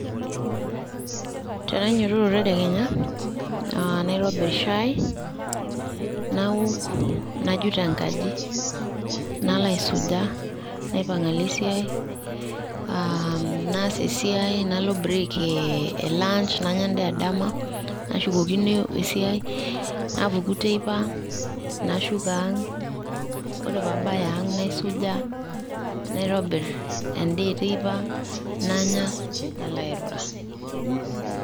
Tenainyototo tedekenya, ah naitobir shai, naok najut enkaji, nalo aisuja, naipang' alo esiai. Ah naas esiai, nalo break e lunch, nanya endaa edama nashukokino esiai. Napuku teipa, nashuko ang'. Ore pabaya ang' naisuja, naitobir endaa eteipa, nanya nalo airura.